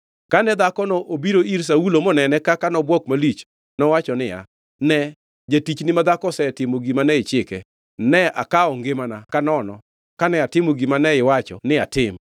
Kane dhakono obiro ir Saulo moneno kaka nobwok malich, nowacho niya, “Ne, jatichni madhako osetimo gima ne ichike. Ne akawo ngimana ka nono kane atimo gima ne iwacho ni atim.